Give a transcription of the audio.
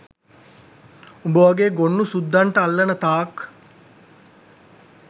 උඹ වගේ ගොන්නු සුද්දන්ට අල්ලන තාක්